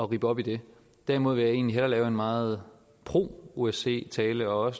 rippe op i det derimod vil jeg egentlig hellere holde en meget pro osce tale og